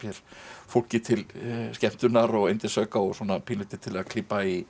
fólki til skemmtunar og yndisauka og svona pínulítið til að klípa í